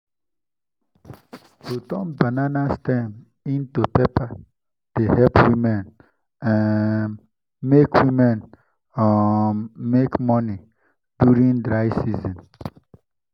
to turn banana stems into paper dey help women um make women um make money during dry season.